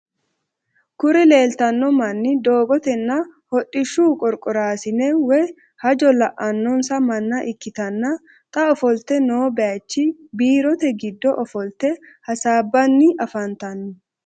Kuri leeltanno manni doogotenna hodhishshu qorqoraasine woy hajo la'annonsa manna ikkitanna xa ofolte noo baayiichi biirote giddo ofolte hasaabbanni afantanno.